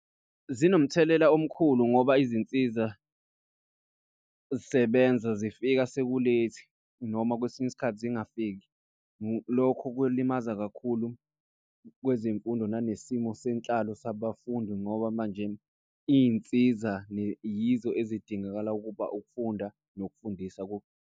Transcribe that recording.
Zinomthelela omkhulu ngoba izinsiza sebenza zifika sekuleyithi noma kwesinye isikhathi zingafiki. Lokho kulimaza kakhulu kwezemfundo nanesimo senhlalo sabafundi. Ngoba manje iy'nsiza yizo ezidingakala ukuba ukufunda nokufundisa .